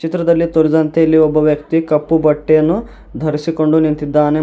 ಚಿತ್ರದಲ್ಲಿ ತೋರಿಸಿದಂತೆ ಇಲ್ಲಿ ಒಬ್ಬ ವ್ಯಕ್ತಿ ಕಪ್ಪು ಬಟ್ಟೆಯನ್ನು ಧರಿಸಿಕೊಂಡು ನಿಂತಿದ್ದಾನೆ.